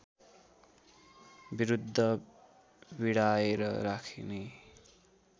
विरुद्ध भिडाएर राख्ने